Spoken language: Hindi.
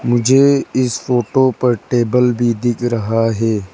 मुझे इस फोटो पर टेबल भी दिख रहा है।